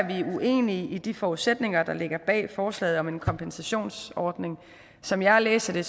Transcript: uenige i de forudsætninger der ligger bag forslaget om en kompensationsordning som jeg læser det